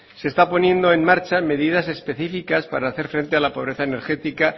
se están poniendo en marcha medidas específicas para hacer frente a la pobreza energética